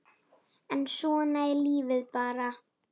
En svona er lífið bara.